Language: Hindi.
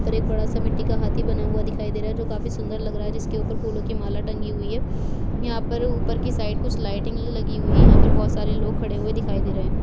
यहाँ पर एक बड़ा सा मिट्टी का हाथी बना हुआ दिखाई दे रहा है जो काफी सुन्दर लगा रहा है जिसके ऊपर फूलों की माला टंगी हुई है यहाँ पर ऊपर के साइड कुछ लाइटिंग लगी हुई है यहाँ पर बहुत सारे लोग खड़े हुए दिखाई दे रहे है।